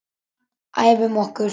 Æfum okkur.